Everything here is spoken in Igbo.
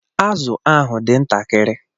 Azụ ahụ dị ntakịrị